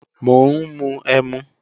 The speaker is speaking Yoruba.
Mò ń mu ẹmu